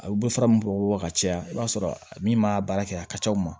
A bɛ fara min bɔ ka caya i b'a sɔrɔ min m'a baara kɛ a ka c'aw ma